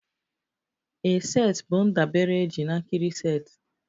A set bụ ndabere eji na a nkiri set